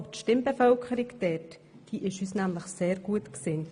Die dort ansässige Stimmbevölkerung ist uns nämlich sehr gut gesinnt.